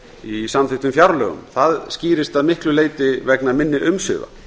í samþykktum fjárlögum það skýrist að miklu leyti vegna minni umsvifa